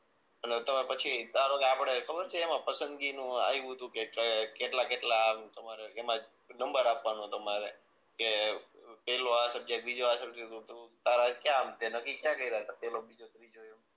અને તમે પછી ધારોકે આપણે ખબર છે એમાં પસંદગી નું આવ્યું તું કે ક્યાં કેટલા કેટલા આ તમારે એમાં નંબર આપવાનો તમારે કે પેલો આ સબ્જેક્ટ બીજો આ સબ્જેક્ટ આમ તે નક્કી ક્યાં કર્યા તા પેલો બીજો ત્રીજો એમ